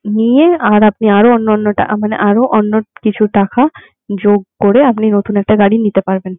নিয়ে আর আপনি আরো অন্য অন্য টা মানে আরো অন্য কিছু টাকা যোগ করে আপনি নতুন একটা গাড়ি নিতে পারবেন.